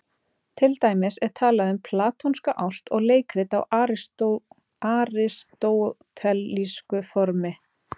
Til dæmis er talað um platónska ást og leikrit á aristótelísku formi.